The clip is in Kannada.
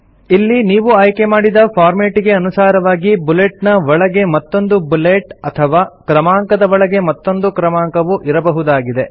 ಇಲ್ಲಿ ನೀವು ಆಯ್ಕೆಮಾಡಿದ ಫಾರ್ಮೆಟಿಗೆ ಅನುಸಾರವಾಗಿ ಬುಲೆಟ್ ನ ಒಳಗೆ ಮತ್ತೊಂದು ಬುಲೆಟ್ ಅಥವಾ ಕ್ರಮಾಂಕದ ಒಳಗೆ ಮತ್ತೊಂದು ಕ್ರಮಾಂಕವು ಇರಬಹುದಾಗಿದೆ